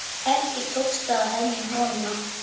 Ekki tókst að hemja holuna.